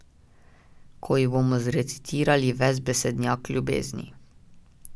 Ko ji bomo zrecitirali ves besednjak ljubezni.